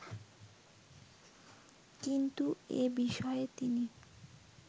কিন্তু এ বিষয়ে তিনি